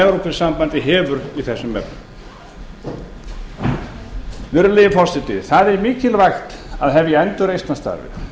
evrópusambandið hefur í þessum efnum virðulegi forseti það er mikilvægt að hefja endurreisnarstarfið